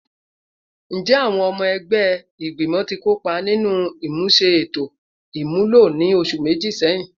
Njẹ awọn ọmọ ẹgbẹ igbimọ ti kopa ninu imuse eto imulo ni oṣu meji sẹhin?